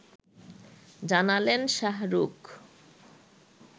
জানালেন শাহরুখ